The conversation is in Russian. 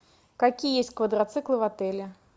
какие есть квадроциклы в отеле